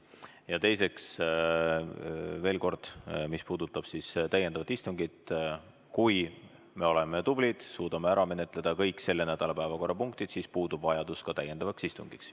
Ja teiseks, veel kord: mis puudutab täiendavat istungit, kui me oleme tublid ja suudame ära menetleda kõik selle nädala päevakorrapunktid, siis puudub ka vajadus täiendavaks istungiks.